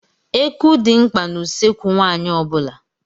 Eku dị mkpa n'ụsọekwu nwaanyị ọ bula.